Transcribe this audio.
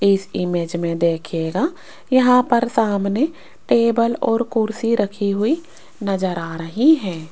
इस इमेज में देखिएगा यहां पर सामने टेबल और कुर्सी रखी हुई नजर आ रही है।